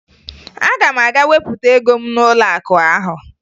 Aga m aga wepụta ego m n'ụlọakụ ahụ